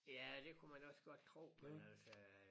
Ja det kunne man også godt tro men altså øh